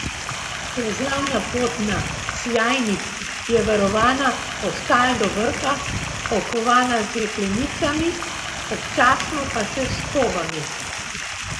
Plezalna pot na Cjajnik je varovana od tal do vrha, okovana z jeklenicami, občasno pa še s skobami.